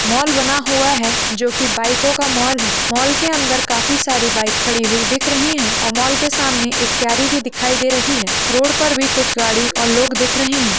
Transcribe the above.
Mall बना हुआ है जो कि बाइको का मॉल है मॉल के अंदर काफी सारी बाइक खड़ी दिख रही है और मॉल के सामने एक कैरी भी दिखाई दे रही है रोड पर भी कुछ गाड़ी और लोग दिख रहे है।